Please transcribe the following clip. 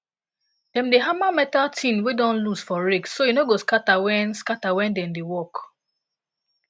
dem dey hammer metal tine wey don loose for rake so e no go scatter when scatter when dem dey work